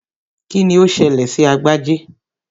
Kíni ó ṣẹlẹ̀ sí Agbájé?